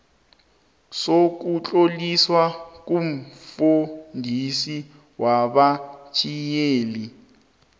sokutloliswa komfundisi wabatjhayeli